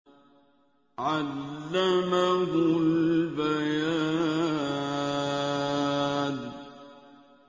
عَلَّمَهُ الْبَيَانَ